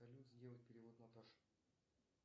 салют сделай перевод наташе